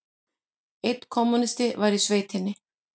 Einn kommúnisti var í sveitinni.